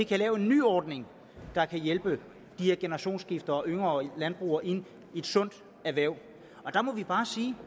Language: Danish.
kan lave en ny ordning der kan hjælpe de her generationsskifter og yngre landbrugere ind i et sundt erhverv der må jeg bare sige